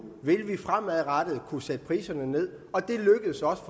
vil vi fremadrettet kunne sætte priserne ned og det lykkedes også